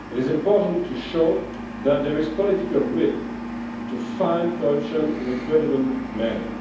It is important to show that there is political will to fight corruption in a credible manner.